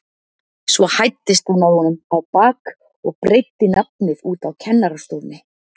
Svo hæddist hann að honum á bak og breiddi nafnið út á kennarastofunni.